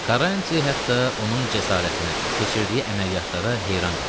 Karanti hətta onun cəsarətinə, keçirdiyi əməliyyatlara heyran qalırdı.